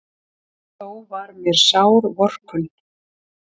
Þó var mér sár vorkunn.